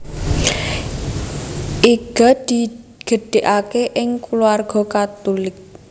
Iga digedhegake ing kulawarga Katulik